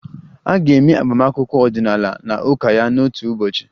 A ga-eme agbamakwụkwọ ọdịnala na ụka ya n'otu ụbọchị